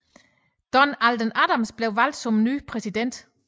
Don Alden Adams blev valgt som ny præsident